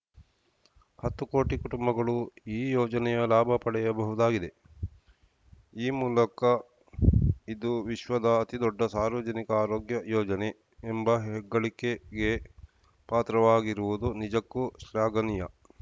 ಹತ್ತು ಕೋಟಿ ಕುಟುಂಬಗಳು ಈ ಯೋಜನೆಯ ಲಾಭ ಪಡೆಯಬಹುದಾಗಿದೆ ಈ ಮೂಲಕ ಇದು ವಿಶ್ವದ ಅತಿದೊಡ್ಡ ಸಾರ್ವಜನಿಕ ಆರೋಗ್ಯ ಯೋಜನೆ ಎಂಬ ಹೆಗ್ಗಳಿಕೆಗೆ ಪಾತ್ರವಾಗಿರುವುದು ನಿಜಕ್ಕೂ ಶ್ಲಾಘನೀಯ